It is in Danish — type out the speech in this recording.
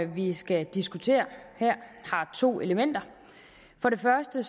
vi skal diskutere her har to elementer for det første